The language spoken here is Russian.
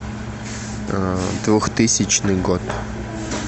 двухтысячный год